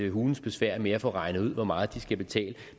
hulens besvær med at få regnet ud hvor meget de skal betale